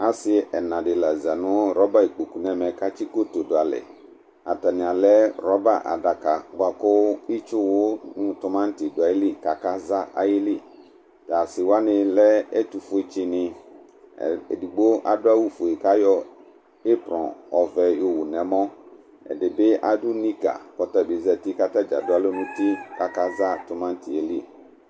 Asi ɛna di la za nu roba ikpoku n'ɛmɛ k'atsi koto du alɛ Atani alɛ roba'daka bua ku itsu wu nu tomati du ayi lɩ kaka za ayi lɩ T'asi wani lɛ ɛtu fue tsi ni Edigbo adu awu fue kayɔ ɩbrɔ ɔʋɛ yɔ wu n'ɛmɔ, ɛdi bi adu niga k'ɔta bi zeti k'ata dza du alɔ n'uti k'aka za tomati'e lɩ